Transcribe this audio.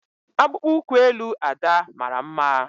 Akpụkpọ ụkwụ elu Ada mara mma.